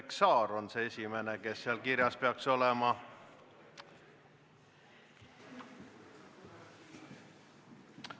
Indrek Saar on see esimene, kes seal kirjas peaks olema.